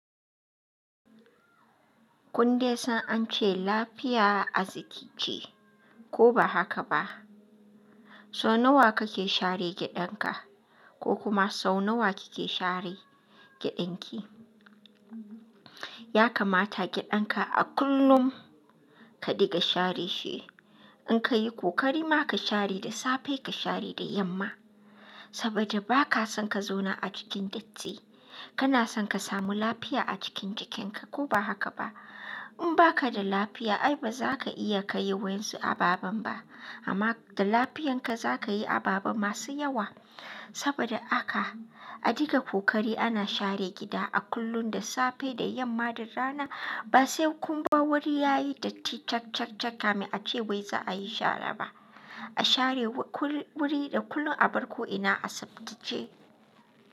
Kun dai san an ce lafiya arziki ce, ko ba haka ba? So nawa kake share gidanka, ko kuma sau nawa kike share gidanki? Ya kamata gidanka a kullum ka diga share shi. In ka yi kokari ma ka share da safe ka share da yamma. Saboda ba ka son ka zauna a cikin datti. Kana son ka samu lafiya a cikin jikinka ko ba haka ba? In ba ka da lafiya ai ba za ka iya ka yi wa'yansu ababan ba. Amma da lafiyanka za ka yi ababa masu yawa. Saboda haka a diga kokari ana share gida a kullun da safe da yamma da rana. Ba sai kun bar wuri yayi datti cak cak cak kamin ace wai za a yi share ba. A share wuri da kullun a bar ko ina a sabtace.